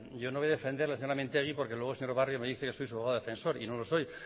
yo no voy a defender a la señora mintegi porque luego el señor barrio me dice que soy su abogado defensor y no lo soy